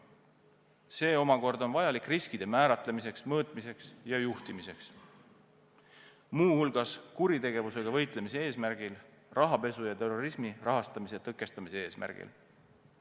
See on vajalik riskide määratlemiseks, mõõtmiseks ja juhtimiseks, muu hulgas kuritegevusega võitlemise eesmärgil, rahapesu ja terrorismi rahastamise ja tõkestamise eesmärgil.